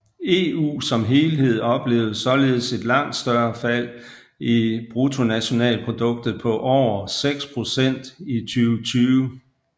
EU som helhed oplevede således et langt større fald i BNP på over 6 procent i 2020